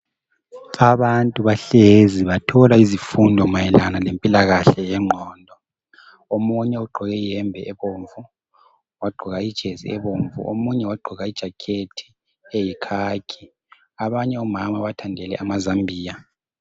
Abantu bahlezi bathola izifundo mayelana lempilakahle yengqondo. Omunye ugqoke iyembe ebomvu, wagqoka ijesi ebomvu. Omunye wagqoka ijakhethi eyikhakhi. Abanye omama bathandele amazambiya.